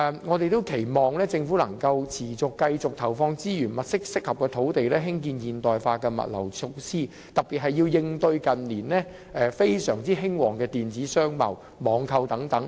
我們期望政府能夠持續投放資源，物色適合的土地興建現代化的物流設施，特別是要應對近年非常興旺的電子商貿和網購等。